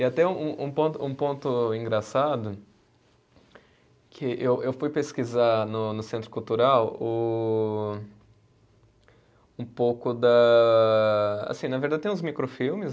E até um um ponto, um ponto engraçado, que eu eu fui pesquisar no no Centro Cultural o, um pouco da. Assim, na verdade, tem uns microfilmes.